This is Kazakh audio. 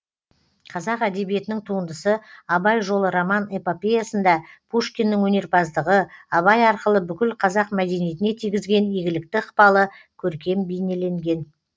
қазақ әдебиетінің туындысы абай жолы роман эпопеясында пушкиннің өнерпаздығы абай арқылы бүкіл қазақ мәдениетіне тигізген игілікті ықпалы көркем бейнеленген